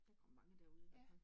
Der kommer mange derude i hvert fald